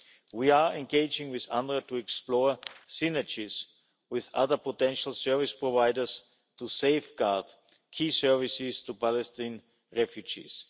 We are engaging with UNRWA to explore synergies with other potential service providers to safeguard key services to Palestinian refugees.